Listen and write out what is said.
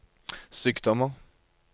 sykdommer